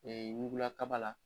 ɲugulakaba la.